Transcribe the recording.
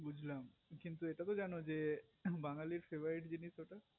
বুজলাম কিন্তু এটা তো জানো যে বাঙালির favorite জিনিস ওটা